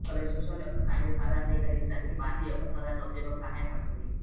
cholesterol యొక్క స్థాయిని సాధారణీకరించడానికి బార్లీ యొక్క సాధారణ ఉపయోగం సహాయపడుతుంది